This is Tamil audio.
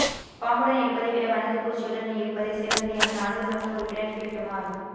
பாம்புடன் இருப்பதைவிட வண்ணாத்துப்பூச்சியுடன் இருப்பதே சிறந்தது என நாடாளுமன்ற உறுப்பினர் ஃபீல்ட் மார்